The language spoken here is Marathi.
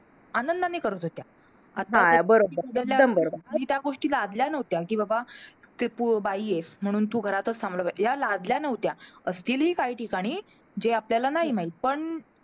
आनंदाने करत होत्या. त्या गोष्टी लादल्या नव्हत्या, कि बाबा तू बाई आहेस, म्हणून तू घरातचं थांबलं पाहिजे. ह्या लादल्या नव्हत्या. असतीलही काही ठिकाणी, जे आपल्याला नाही माहित पण